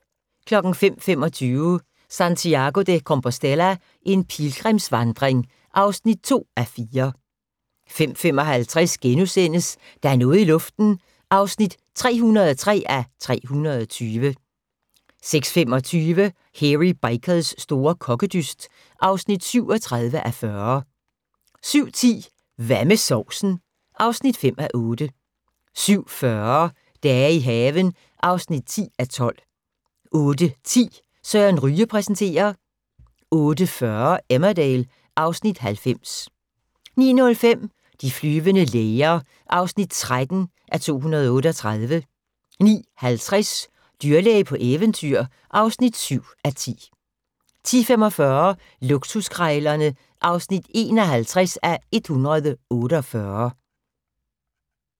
05:25: Santiago de Compostela – en pilgrimsvandring (2:4) 05:55: Der er noget i luften (303:320)* 06:25: Hairy Bikers store kokkedyst (37:40) 07:10: Hvad med sovsen? (5:8) 07:40: Dage i haven (10:12) 08:10: Søren Ryge præsenterer 08:40: Emmerdale (Afs. 90) 09:05: De flyvende læger (13:238) 09:50: Dyrlæge på eventyr (7:10) 10:45: Luksuskrejlerne (51:148)